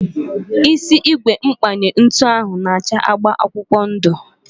Isi ígwè mkpanye ntụ ahu na acha agba akwụkwọ ndu